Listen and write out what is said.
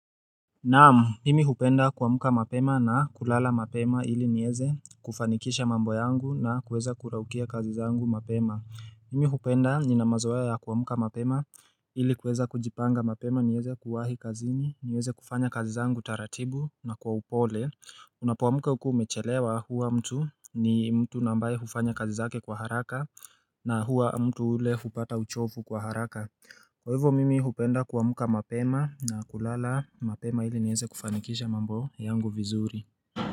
Naam, mimi hupenda kuamka mapema na kulala mapema ili nieze kufanikisha mambo yangu na kuweza kuraukia kazi zangu mapema mimi hupenda nina mazoea ya ya kuamka mapema ili kuweza kujipanga mapema nieze kuwahi kazini, nieze kufanya kazi zangu taratibu na kwa upole Unapoamka ukiwa umechelewa huwa mtu ni mtu na ambaye hufanya kazi zake kwa haraka na huwa mtu ule hupata uchovu kwa haraka Kwa hivyo mimi hupenda kuamka mapema na kulala mapema ili nieze kufanikisha mambo yangu vizuri.